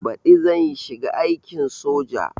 Baɗi zan shiga aikin soja